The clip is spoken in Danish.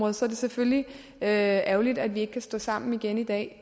er selvfølgelig ærgerligt at vi ikke kan stå sammen igen i dag